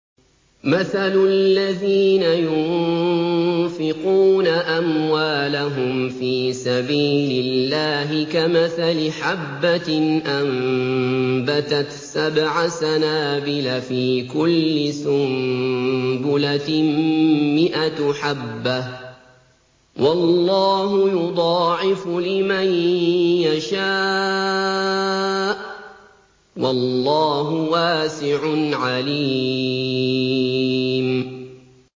مَّثَلُ الَّذِينَ يُنفِقُونَ أَمْوَالَهُمْ فِي سَبِيلِ اللَّهِ كَمَثَلِ حَبَّةٍ أَنبَتَتْ سَبْعَ سَنَابِلَ فِي كُلِّ سُنبُلَةٍ مِّائَةُ حَبَّةٍ ۗ وَاللَّهُ يُضَاعِفُ لِمَن يَشَاءُ ۗ وَاللَّهُ وَاسِعٌ عَلِيمٌ